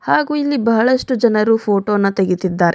ಹಾಗು ಇಲ್ಲಿ ಬಹಳಷ್ಟು ಜನರು ಫೋಟೋನ ತೆಗಿತಿದ್ದಾರೆ.